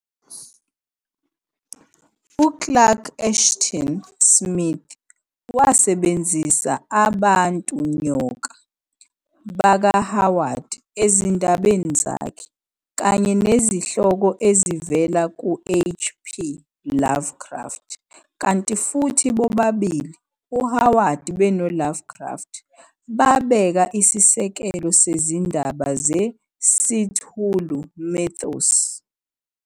U-Clark Ashton Smith wasebenzisa "abantu-nyoka" baka-Howard ezindabeni zakhe, Kanye nezihloko ezivela ku-H. P. Lovecraft, kanti futhi bobabili, uHoward beno-Lovecraft babeka Isisekelo sezindaba ze-Cthulhu Mythos.